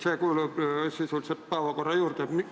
See kuulub sisuliselt päevakorra juurde.